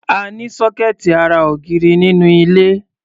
A ní sọ́kẹ́ẹ̀tì ará ògiri nínú ilé.